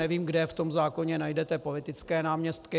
Nevím, kde v tom zákoně najdete politické náměstky.